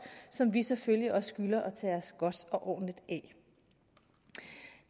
som vi selvfølgelig også skylder at tage os godt og ordentligt